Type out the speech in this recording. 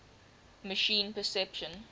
machine perception